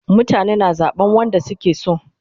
Mutane na zaban wanda suke so